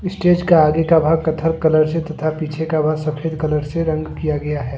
Stage के आगे का भाग कथार कलर से तथा पीछे का भाग सफेद कलर से रंग किया गया है।